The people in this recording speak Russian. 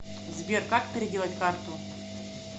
сбер как переделать карту